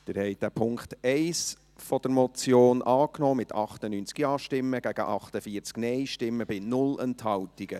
Sie haben den Punkt 1 der Motion angenommen, mit 98 Ja- zu 48 Nein-Stimmen bei 0 Enthaltungen.